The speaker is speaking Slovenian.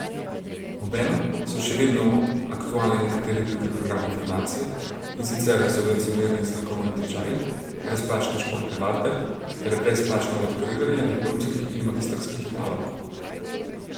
Obenem so še vedno aktualni nekateri drugi programi fundacije, in sicer subvencionirani strokovni tečaji, brezplačne športne vadbe ter brezplačno lektoriranje diplomskih in magistrskih nalog.